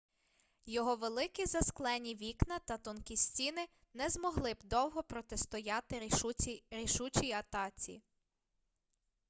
його великі засклені вікна та тонкі стіни не змогли б довго протистояти рішучій атаці